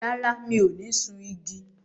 Rárá, mi ò ní sun igi.